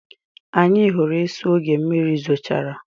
Anyị hụrụ esu oge mmiri zochara.